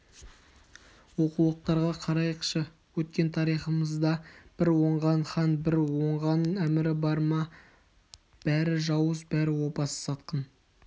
оқулықтарға қарайықшы өткен тарихымызда бір оңған хан бір оңған әмірі бар ма бәрі жауыз бәрі опасыз сатқын